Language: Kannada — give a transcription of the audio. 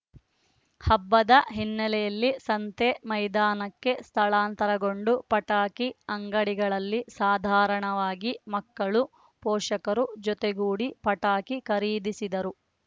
ಹಬ್ಬದ ಹಿನ್ನೆಲೆಯಲ್ಲಿ ಸಂತೆ ಮೈದಾನಕ್ಕೆ ಸ್ಥಳಾಂತರಗೊಂಡು ಪಟಾಕಿ ಅಂಗಡಿಗಳಲ್ಲಿ ಸಾಧಾರಣವಾಗಿ ಮಕ್ಕಳು ಪೋಷಕರು ಜೊತೆಗೂಡಿ ಪಟಾಕಿ ಖರೀದಿಸಿದರು